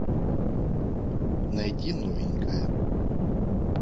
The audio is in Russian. найти новенькая